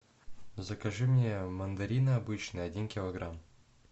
закажи мне мандарины обычные один килограмм